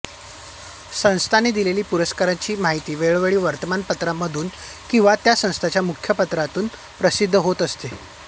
संस्थांनी दिलेल्या पुरस्कारांची माहिती वेळोवेळी वर्तमानपत्रांमधून किंवा त्या संस्थांच्या मुखपत्रांतून प्रसिद्ध होत असते